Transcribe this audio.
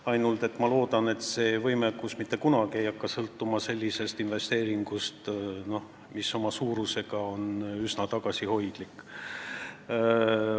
Ainult et ma loodan, et see võimekus ei hakka mitte kunagi sõltuma sellisest investeeringust, mis on oma suuruselt üsna tagasihoidlik.